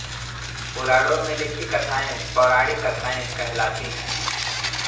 पुराणों में लिखी कथाएँ पौराणिक कथाएँ कहलाती है